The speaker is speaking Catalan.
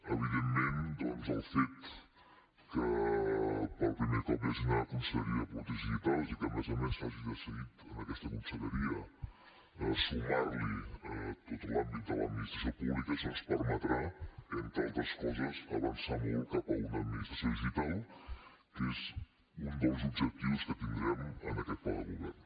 evidentment el fet que per primer cop hi hagi una conselleria de polítiques digitals i que a més a més s’hagi decidit en aquesta conselleria sumar hi tot l’àmbit de l’administració pública això ens permetrà entre altres coses avançar molt cap a una administració digital que és un dels objectius que tindrem en aquest pla de govern